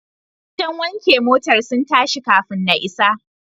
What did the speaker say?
Wajen wanke motar sun tashi kafun na isa.